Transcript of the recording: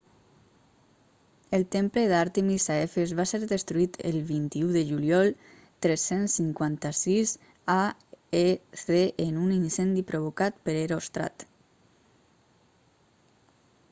el temple d'àrtemis a efes va ser destruït el 21 de juliol 356 aec en un incendi provocat per heròstrat